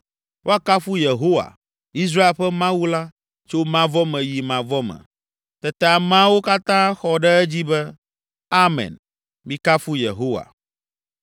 Woakafu Yehowa, Israel ƒe Mawu la Tso mavɔ me yi mavɔ me. Tete ameawo katã xɔ ɖe edzi be, “Amen, mikafu Yehowa.”